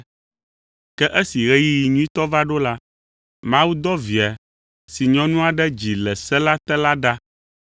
Ke esi ɣeyiɣi nyuitɔ va ɖo la, Mawu dɔ Via si nyɔnu aɖe dzi le se la te la ɖa